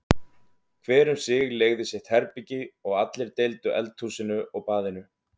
Hver um sig leigði sitt herbergi og allir deildu eldhúsinu og baðinu.